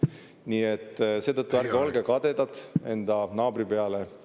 Nii et seetõttu ärge olge kadedad enda naabri peale.